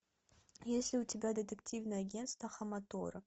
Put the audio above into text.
есть ли у тебя детективное агентство хаматора